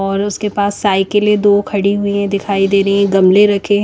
और उसके पास साइकेले दो खड़ी हुई है दिखाई दे रहे है गमले रखे --